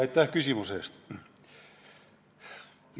Aitäh küsimuse eest!